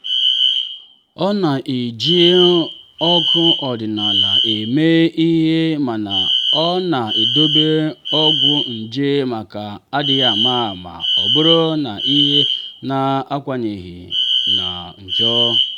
ọ na-eji anụ ọkụ ọdịnala eme ihe mana ọ na-edobe ọgwụ nje maka adịghị ama ama ọ bụrụ na ihe na-akawanye njọ.